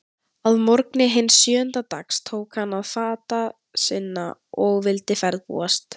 Að morgni hins sjöunda dags tók hann til fata sinna og vildi ferðbúast.